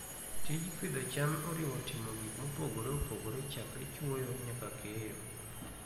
Tij pidho cham oriwo timo gik mopogore opogore chakre chwoyo nyaka keyo.